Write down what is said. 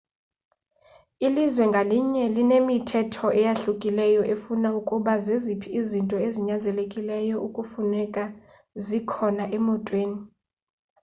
ilizwe ngalinye linemithetho eyahlukileyo efuna ukuba zeziphi izinto ezinyanzelekileyo ekufuneka zikhona emotweni